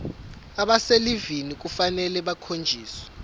abaselivini kufanele bakhonjiswe